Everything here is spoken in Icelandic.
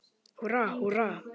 Húrra, húrra!